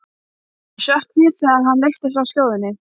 Ég hrökk við þegar hann leysti frá skjóðunni.